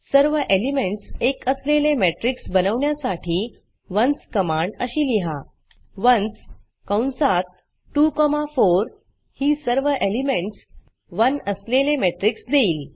सर्व एलिमेंटस एक असलेले matrixमेट्रिक्स बनवण्यासाठी onesवन्स कमांड अशी लिहा onesवन्स कंसात 2 कॉमा 4 ही सर्व एलिमेंटस 1 असलेले matrixमेट्रिक्स देईल